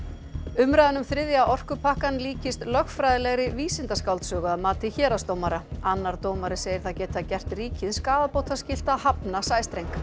umræðan um þriðja orkupakkann líkist lögfræðilegri vísindaskáldsögu að mati héraðsdómara annar dómari segir það geta gert ríkið skaðabótaskylt að hafna sæstreng